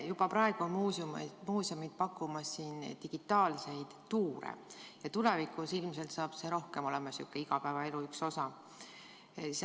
Juba praegu on muuseumid pakkumas digitaalseid tuure ja tulevikus ilmselt saab see veel rohkem olema igapäevaelu üks osa.